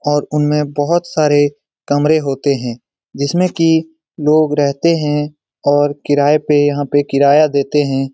और उनमे बहुत सारे कमरे होते हैं जिसमें की लोग रहते हैं और किराए पे यहाँ पे किराया देते हैं।